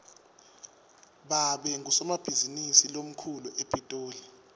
babe ngusomabhizinisi lomkhulu epitoli